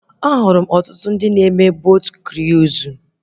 Ahụrụ m ọtụtụ ndị na-eme botu kruizu